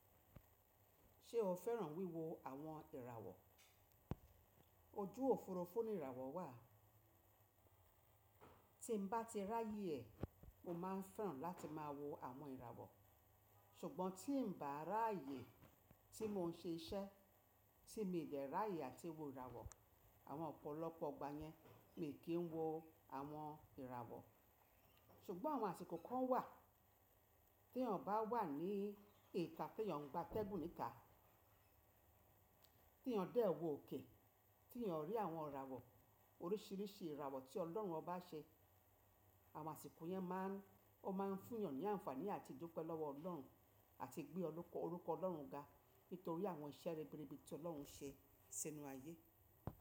Ṣé o fẹ́ràn wíwo àwọn ìràwọ̀? Ojú òfurufú ni ìràwọ̀ wà. Tí n bá ti ráyè e, mo máa ń fẹ́ràn láti máa wo àwọn ìràwọ̀. Ṣùgbọ́n tí n bà á ráayè tí mo ń ṣe iṣẹ́, tí mi dè ráyè àti wo ìràwọ̀, àwọn ọ̀pọ̀lọpọ̀ igbà yẹn mi kì í wo àwọn ìràwọ̀. Ṣùgbọ́n àwọn àsìkò kan wà t'eyàn bá wà ní ìta t'èyàn ń gba ateégùn ní ità, tí ènìyàn dẹ́ẹ̀ wò okè, tí ènìyàn rí àwọn ìràwọ̀, oríṣìíríṣìí ìràwọ̀ tí Ọlọ́run ọba ṣe, àwọn àsìkò yẹn máa ń, ó máa ń fún ènìyàn ní àǹfààní àti dúpẹ́ lọ́wọ́ Ọlọ́run àti gbé orúkọ Ọlọ́run ga nítorí àwọn iṣẹ́ ribiribi ti Ọlọ́run ṣe sínú ayé.